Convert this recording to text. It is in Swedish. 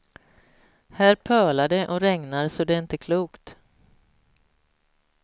Här pölar det och regnar så det är inte klokt.